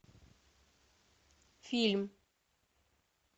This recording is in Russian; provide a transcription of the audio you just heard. фильм